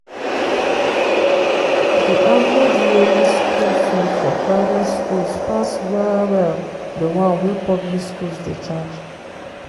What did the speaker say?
di average yearly school fee for private schools pass well well di one wey public schools dey charge.